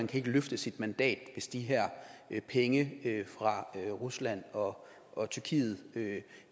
kan løfte sit mandat hvis de her penge fra rusland og og tyrkiet